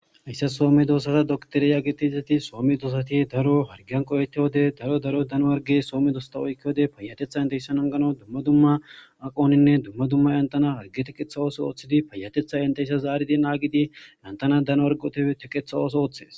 Hayssa soome doosata doktoriya getizati soome doosati daro hargeyan qoyeetti wode daro daro dano warge soomme doosta oykke wode payatetha intehysan angano dumma dumma aqoninne dumma dumma yantana harge tiqetha ooso ooththidi payatetha inteyssa zaaridi naagidi lantana dano wargote tiqetha ooso ooththes.